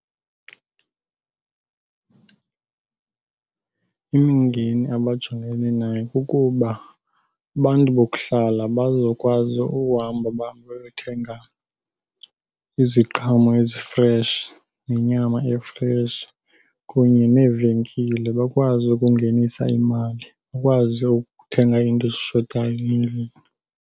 Imingeni abajongene nayo kukuba abantu bokuhlala bazokwazi uhamba bahambe bayothenga iziqhamo ezifreshi nenyama efreshi kunye neevenkile. Bakwazi ukungenisa imali, bakwazi ukuthenga iinto ezishotayo endlini.